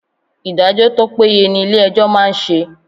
Ìdájọ́ tó péye ni ilé ẹjọ́ máa ń ṣe.